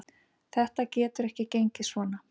Þetta getur ekki gengið svona.